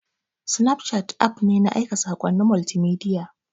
Snapchat app ne na aika saƙonnin multimedia.